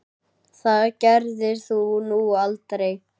Það gerðir þú nú aldrei.